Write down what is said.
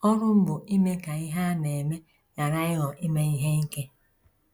Ọrụ m bụ ime ka ihe a na - eme ghara ịghọ ime ihe ike.